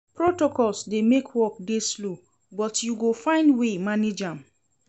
Protocols dey make work dey slow but you go find way manage am.